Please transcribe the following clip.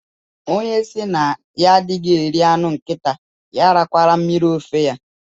Onye si na ya adịghị eri anụ nkịta ya arakwala mmiri ofe ya